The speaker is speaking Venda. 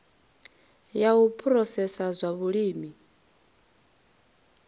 ya u phurosesa zwa vhulimi